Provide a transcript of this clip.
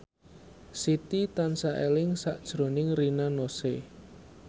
Siti tansah eling sakjroning Rina Nose